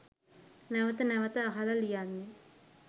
නැවත නැවත අහල ලියන්නෙ.